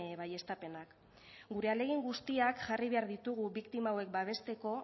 baieztapenak gure ahalegin guztiak jarri behar ditugu biktima hauek babesteko